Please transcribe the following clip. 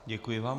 Děkuji vám.